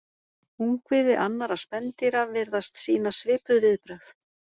Ungviði annarra spendýra virðast sýna svipuð viðbrögð.